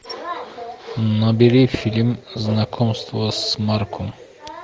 набери фильм знакомство с марко